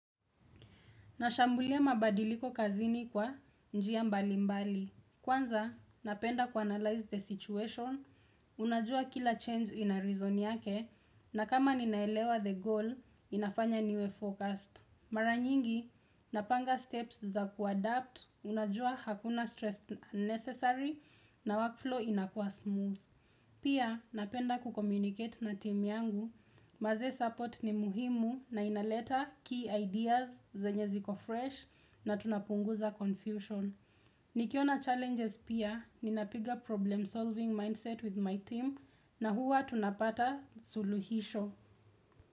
Nashambulia mabadiliko kazini kwa njia mbali mbali. Kwanza, napenda kuanalyze the situation, unajua kila change ina reason yake, na kama ninaelewa the goal, inafanya niwe focused. Mara nyingi, napanga steps za kuadapt, unajua hakuna stress necessary, na workflow inakuwa smooth. Pia, napenda kucommunicate na timu yangu. Manze support ni muhimu na inaleta key ideas zenye ziko fresh na tunapunguza confusion. Nikiona challenges pia, ninapiga problem solving mindset with my team na huwa tunapata suluhisho.